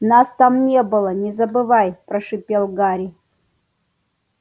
нас там не было не забывай прошипел гарри